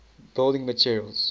building materials